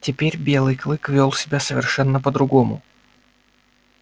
теперь белый клык вёл себя совершенно по другому